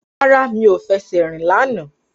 Rárá, mi ò fẹsẹ̀ rìn lánàá